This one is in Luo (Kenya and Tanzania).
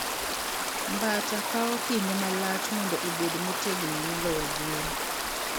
Mbata kawo kinde malach mondo obed motegno moloyo gwen.